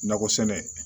Nakɔ sɛnɛ